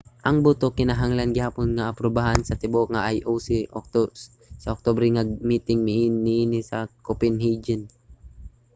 ang boto kinahanglan gihapon nga aprubahan sa tibuok nga ioc sa oktubre nga miting niini sa copenhagen